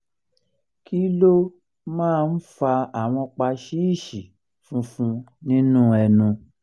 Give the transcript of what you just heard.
kí ló um máa ń fa àwọn paṣíìṣì funfun nínú ẹnu?